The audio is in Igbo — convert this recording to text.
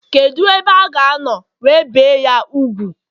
kedu ebe a ga no we bee ?ya úgwù